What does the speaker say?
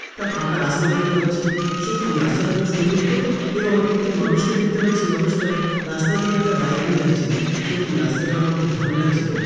একটা ফাঁকা রাস্তা দেখতে পাচ্ছি সত্যিই রাস্তাটা খুব সুন্দর তো এবং একটি মানুষকে দেখতে পাচ্ছি মানুষটা রাস্তা দিয়ে একটা বাইক নিয়ে যাচ্ছে সত্যি রাস্তাটা আমার খুব ভালো লাগছে তো।